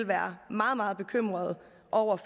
være meget meget bekymrede